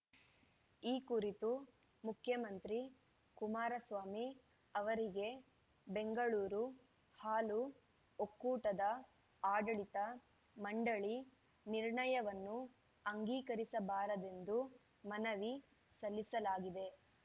ಈ ಕುರಿತು ಮುಖ್ಯಮಂತ್ರಿ ಕುಮಾರಸ್ವಾಮಿ ಅವರಿಗೆ ಬೆಂಗಳೂರು ಹಾಲು ಒಕ್ಕೂಟದ ಆಡಳಿತ ಮಂಡಳಿ ನಿರ್ಣಯವನ್ನು ಅಂಗೀಕರಿಸಬಾರದೆಂದು ಮನವಿ ಸಲ್ಲಿಸಲಾಗಿದೆ